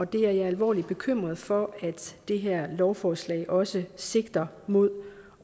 det er jeg alvorligt bekymret for at det her lovforslag også sigter mod